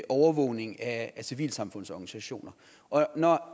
overvågning af civilsamfundets organisationer når